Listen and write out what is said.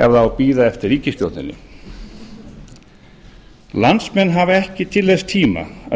ef það á að bíða eftir ríkisstjórninni landsmenn hafa ekki til þess tíma að